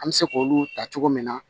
An bɛ se k olu ta cogo min na